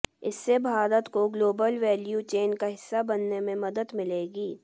इससे भारत को global value chain का हिस्सा बनने में मदद मिलेगी